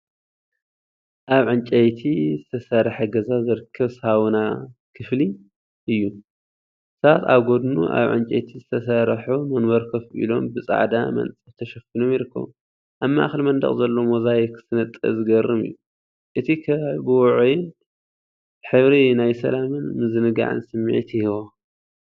ኣብ ዕንጨይቲ ዝተሰርሐ ገዛ ዝርከብ ሳውና ክፍሊ እዩ። ሰባት ኣብ ጎድኑ ኣብ ዕንጨይቲ ዝተሰርሑ መንበር ኮፍ ኢሎም ብጻዕዳ መንጸፍ ተሸፊኖም ይርከቡ። ኣብ ማእከል መንደቕ ዘሎ ሞዛይክ ስነጥበብ ዘገርም እዩ። እቲ ከባቢ ብውዑይን ሕብሪ ናይ ሰላምን ምዝንጋዕን ስምዒት ይህቦ።